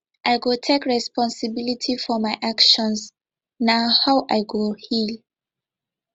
i go take responsibility for my actions na how i go heal